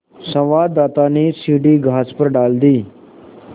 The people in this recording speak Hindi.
संवाददाता ने सीढ़ी घास पर डाल दी